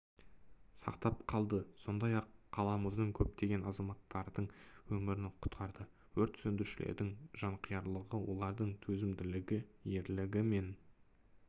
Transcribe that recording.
сақтап қалды сондай-ақ қаламыздың көптеген азаматтардың өмірін құтқарды өрт сөндірушілердің жанқиярлығы олардың төзімділігі ерлігі мен